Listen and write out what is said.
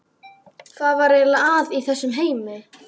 Hvað var eiginlega að í þessum heimi?